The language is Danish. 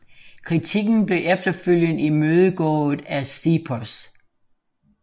Kritikken blev efterfølgende imødegået af CEPOS